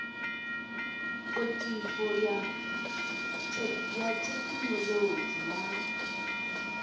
potifo io ya thekhinoḽodzhi ya